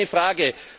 Das ist keine Frage.